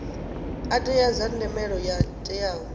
teaho dza themendelo yo teaho